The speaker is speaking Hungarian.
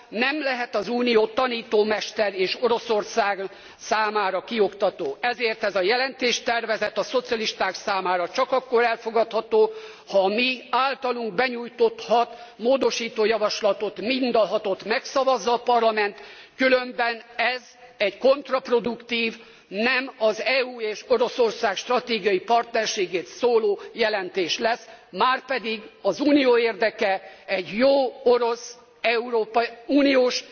Nem lehet az Unió tanítómester és Oroszország számára kioktató, ezért ez a jelentéstervezet a szocialisták számára csak akkor elfogadható, ha a miáltalunk benyújtott hat módosító javaslatot, mind a hatot megszavazza a parlament, különben ez egy kontraproduktív, és nem az EU és Oroszország stratégiai partnerségét szolgáló jelentés lesz. Márpedig az Unió érdeke egy jó orosz európai uniós